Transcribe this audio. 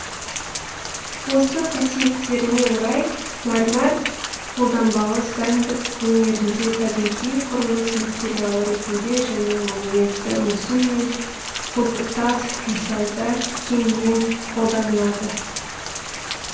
осы қасиеттеріне орай мәрмәр қолданбалы сәндік өнерінде табиғи құрылыс материалы ретінде және монументті мүсін мен құлпытас жасауда кеңінен қолданылады